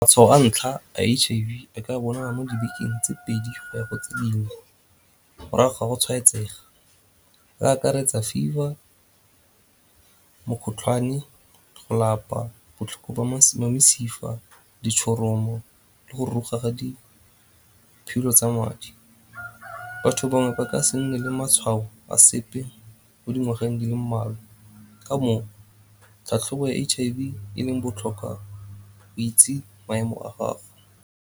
Matshwao a ntlha a H_I_V a ka bonala mo dibekeng tse pedi go ya ko tse dingwe morago ga go tshwaetsega. E akaretsa fever, mokgotlhwane, go lapa, botlhoko ba mesifa, ditshoromo le go ruruga ga diphilo tsa madi. Batho bangwe ba ka se nne le matshwao a sepe mo dingwageng di le mmalwa ka moo tlhatlhobo ya H_I_V e leng botlhokwa go itse maemo a gago.